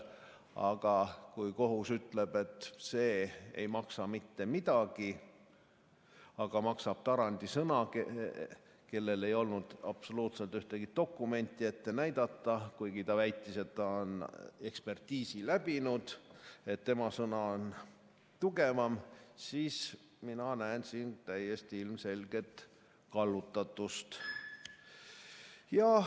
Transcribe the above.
Aga kui kohus ütleb, et see ei maksa mitte midagi, maksab Tarandi sõna, kellel ei olnud absoluutselt ühtegi dokumenti ette näidata, kuigi ta väitis, et ta on ekspertiisi läbinud, tema sõna on tugevam, siis mina näen siin täiesti ilmselget kallutatust.